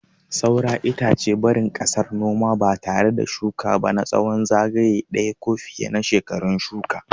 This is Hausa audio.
Saura itace, barin ƙasar noma ba tare da shuka ba na tsawon zagaye ɗaya ko fiye na shekarun shuka.